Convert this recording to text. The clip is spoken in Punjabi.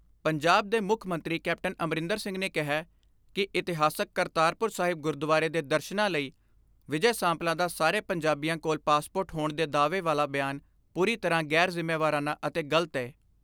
ਪੰਜਾਬ ਦੇ ਮੁੱਖ ਮੰਤਰੀ ਕੈਪਟਨ ਅਮਰਿੰਦਰ ਸਿੰਘ ਨੇ ਕਿਹੈ ਕਿ ਇਤਿਹਾਸਕ ਕਰਤਾਰਪੁਰ ਸਾਹਿਬ ਗੁਰਦੁਆਰੇ ਦੇ ਦਰਸ਼ਨਾਂ ਲਈ ਵਿਜੈ ਸਾਂਪਲਾ ਦਾ ਸਾਰੇ ਪੰਜਾਬੀਆਂ ਕੋਲ ਪਾਸਪੋਰਟ ਹੋਣ ਦੇ ਦਾਅਵੇ ਵਾਲਾ ਬਿਆਨ ਪੂਰੀ ਤਰ੍ਹਾਂ ਗ਼ੈਰ ਜ਼ਿੰਮੇਵਾਰਾਨਾ ਅਤੇ ਗਲਤ ਏ।